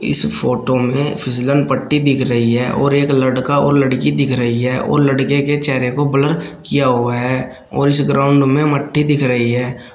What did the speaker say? इस फोटो में फिसलन पट्टी दिख रही है और एक लड़का और लड़की दिख रही है और लड़के के चेहरे को ब्लर किया हुआ है और इस ग्राउंड में मट्टी दिख रही है।